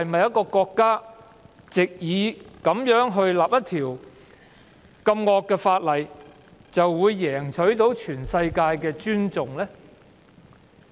一個國家能否藉訂立惡法贏取全世界尊重呢？